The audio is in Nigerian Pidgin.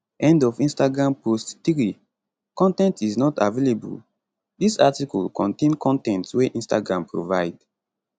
end of instagram post 3 con ten t is not available dis article contain con ten t wey instagram provide